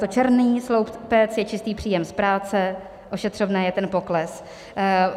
Ten černý sloupec je čistý příjem z práce, ošetřovné je ten pokles.